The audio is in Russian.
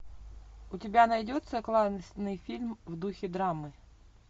у тебя найдется классный фильм в духе драмы